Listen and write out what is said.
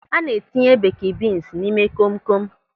A na-etinye beeki bins n'ime kom kom.